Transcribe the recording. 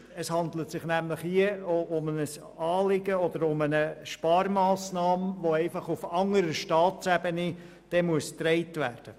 Es handelt sich nämlich hier um ein Anliegen oder eine Sparmassnahme, die auf anderer Staatsebene getragen werden muss.